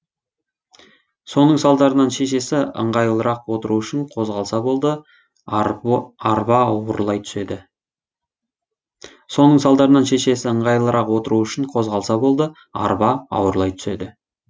соның салдарынан шешесі ыңғайлырақ отыру үшін қозғалса болды арба ауырлай түседі